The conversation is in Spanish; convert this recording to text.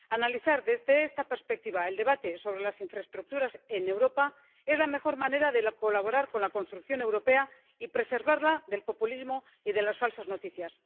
Analizar desde esta perspectiva el debate sobre las infraestructuras en Europa es la mejor manera de colaborar con la construcción europea y preservarla del populismo y de las falsas noticias.